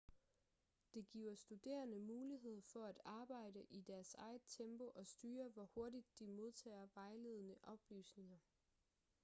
det giver studerende mulighed for at arbejde i deres eget tempo og styre hvor hurtigt de modtager vejledende oplysninger